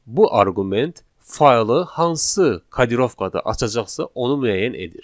Bu arqument faylı hansı kodirovkada açacaqsa, onu müəyyən edir.